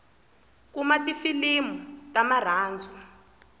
kuna tifilimu ta marhandzu